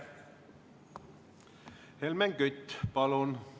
Helmen Kütt, palun!